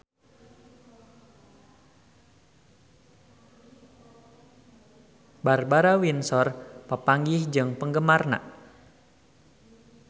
Barbara Windsor papanggih jeung penggemarna